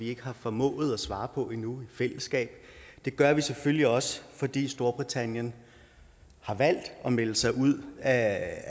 ikke har formået at finde svar på i fællesskab det gør vi selvfølgelig også fordi storbritannien har valgt at melde sig ud af